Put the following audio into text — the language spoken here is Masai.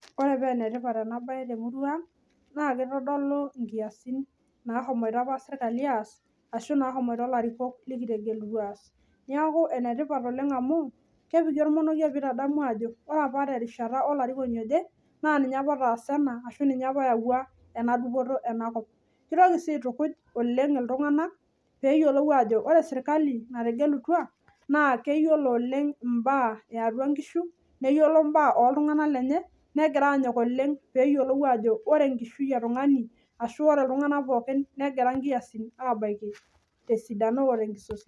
Ore paa enetipat enabae temurua ang naa kitodolu nkiasin ,nahomoito siraki aas ashu nahomoito ilarikok likitegelutua aas .Niaku enetipat amu kepiki ormonokie pitadamu ajo ore apa olarikoni naa ninye apa otaas ena ashu ninye apa oyawua enadupoto enakop . Kitoki sii aitukuj oleng iltunganak peyiolou ajo ore sirkali nategelutua naa keyiolo oleng imbaa eatua nkishu , neyiolo mbaa oltunganak lenye .